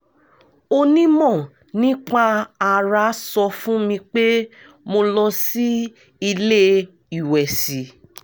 onímọ̀ nípa ara sọ fún mi pé mo lọ sí ilé ìwẹ̀sì